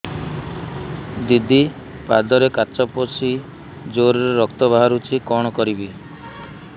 ଦିଦି ପାଦରେ କାଚ ପଶି ଜୋରରେ ରକ୍ତ ବାହାରୁଛି କଣ କରିଵି